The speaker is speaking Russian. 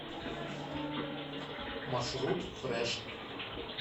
маршрут фреш